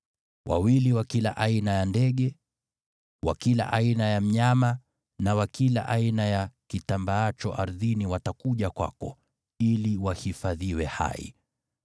Wawili wa kila aina ya ndege, wa kila aina ya mnyama na wa kila aina ya kitambaacho ardhini watakuja kwako ili wahifadhiwe hai.